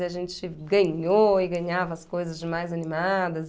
E a gente ganhou e ganhava as coisas de mais animadas.